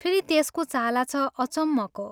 फेरि त्यसको चाला छ अचम्मको।